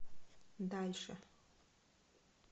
дальше